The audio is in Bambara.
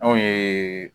Anw ye